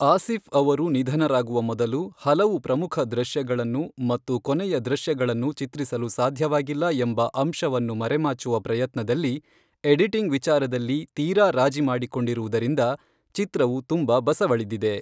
ಆಸಿಫ್ ಅವರು ನಿಧನರಾಗುವ ಮೊದಲು ಹಲವು ಪ್ರಮುಖ ದೃಶ್ಯಗಳನ್ನು ಮತ್ತು ಕೊನೆಯ ದೃಶ್ಯಗಳನ್ನು ಚಿತ್ರಿಸಲು ಸಾಧ್ಯವಾಗಿಲ್ಲ ಎಂಬ ಅಂಶವನ್ನು ಮರೆಮಾಚುವ ಪ್ರಯತ್ನದಲ್ಲಿ ಎಡಿಟಿಂಗ್ ವಿಚಾರದಲ್ಲಿ ತೀರಾ ರಾಜಿ ಮಾಡಿಕೊಂಡಿರುವುದರಿಂದ ಚಿತ್ರವು ತುಂಬ ಬಸವಳಿದಿದೆ.